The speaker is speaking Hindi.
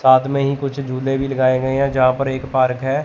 साथ में ही कुछ झूले भी लगाएं गए है जहां पर एक पार्क है।